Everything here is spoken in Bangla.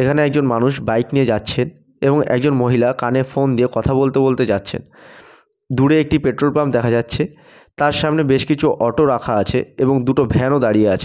এখানে একজন মানুষ বাইক নিয়ে যাচ্ছেন এবং একজন মহিলা কানে ফোন দিয়ে কথা বলতে বলতে যাচ্ছেন। দূরে একটি পেট্রোল পাম্প দেখা যাচ্ছে। তার সামনে বেশ কিছু অটো রাখা আছে এবং দুটো ভ্যান -ও দাঁড়িয়ে আছে।